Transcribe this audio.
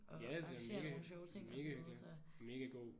Ja det er mega. Mega hyggeligt. Mega god